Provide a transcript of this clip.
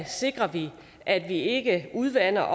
sikrer vi at vi ikke udvander